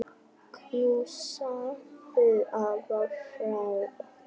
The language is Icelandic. Knúsaðu afa frá okkur.